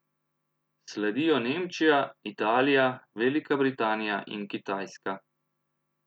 Sledijo Nemčija, Italija, Velika Britanija in Kitajska.